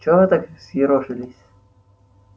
чего вы так взъерошились